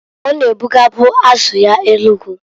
O na-ebugabu azu ya Enugu.